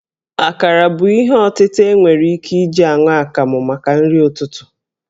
Akarà bụ ihe ọtịta e nwere ike iji aṅụ akamụ maka nrị ụtụtụ